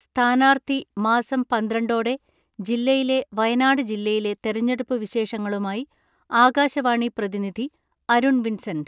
സ്ഥാനാർത്ഥി മാസം പന്ത്രണ്ടോടെ ജില്ലയിലെ വയനാട് ജില്ലയിലെ തെരഞ്ഞെടുപ്പ് വിശേഷങ്ങളുമായി ആകാശവാണി പ്രതിനിധി അരുൺ വിൻസെന്റ്.